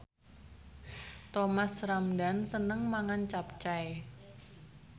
Thomas Ramdhan seneng mangan capcay